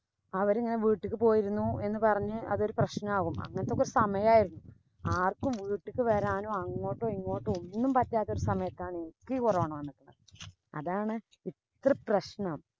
അവരിങ്ങനെ വീട്ട്ക്ക് പോയിരുന്നു എന്ന് പറഞ്ഞു അതൊരു പ്രശ്നാകും. അങ്ങനത്തൊക്കെ സമയാരുന്നു. ആര്‍ക്കും വീട്ട്ക്ക് വരാനോ, അങ്ങോട്ടോ, ഇങ്ങോട്ടോ ഒന്നും പറ്റാത്ത സമയത്താണ് എനിക്ക് corona വന്നത്. അതാണ്‌ ഇത്ര പ്രശ്നം.